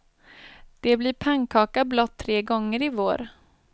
Det blir pannkaka blott tre gånger i vår.